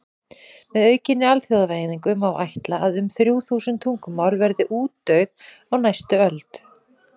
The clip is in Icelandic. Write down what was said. Með aukinni alþjóðavæðingu má ætla að um þrjú þúsund tungumál verði útdauð á næstu öld.